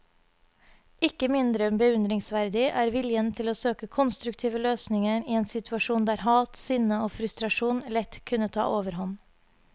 Ikke mindre beundringsverdig er viljen til å søke konstruktive løsninger i en situasjon der hat, sinne og frustrasjon lett kunne ta overhånd.